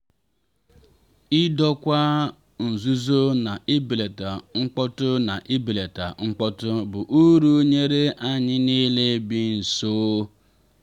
idokwa nzúzo na ibelata mkpọ́tụ na ibelata mkpọ́tụ bụ uru nyere anyị niile bi nso.